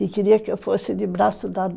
Ele queria que eu fosse de braço dado.